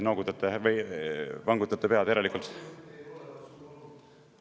Noogutate või vangutate pead, järelikult …